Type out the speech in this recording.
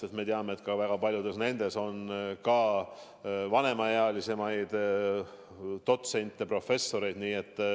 Me ju teame, et väga palju töötab nendes ka vanemaealisi dotsente ja professoreid.